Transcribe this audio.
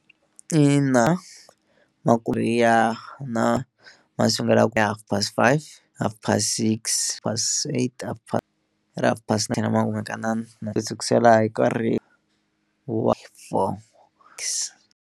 Ina ma ku ri ya na ma sukelaku hi half past five, half past six, past eight, half past ku sukisela hi nkarhi wa .